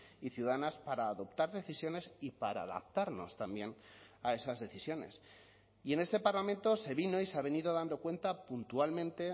y ciudadanas para adoptar decisiones y para adaptarnos también a esas decisiones y en este parlamento se vino y se ha venido dando cuenta puntualmente